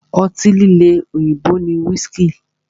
Ọtí líle òyìnbó ni whiski.